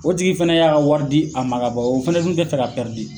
O tigi fɛnɛ y'a ka wari di a ma ka ban, o fɛnɛ dun te fɛ a ka